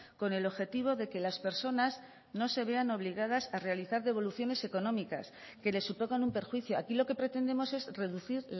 con el objetivo de que las personas no se vean obligadas a realizar devoluciones económicas que le supongan un perjuicio aquí lo que pretendemos es reducir